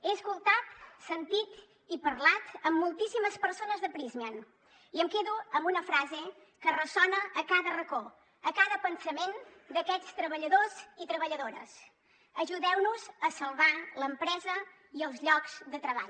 he escoltat sentit i parlat amb moltíssimes persones de prysmian i em quedo amb una frase que ressona a cada racó a cada pensament d’aquests treballadors i treballadores ajudeu nos a salvar l’empresa i els llocs de treball